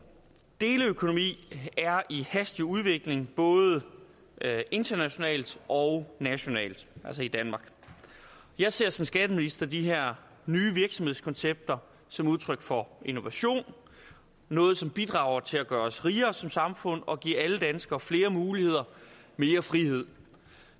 deleøkonomi er i hastig udvikling både internationalt og nationalt altså i danmark jeg ser som skatteminister de her nye virksomhedskoncepter som udtryk for innovation noget som bidrager til at gøre os rigere som samfund og give alle danskere flere muligheder og mere frihed